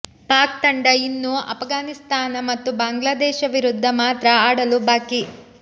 ಪಾಕ್ ತಂಡ ಇನ್ನು ಅಫಘಾನಿಸ್ತಾನ ಮತ್ತು ಬಾಂಗ್ಲಾದೇಶ ವಿರುದ್ಧ ಮಾತ್ರ ಆಡಲು ಬಾಕಿ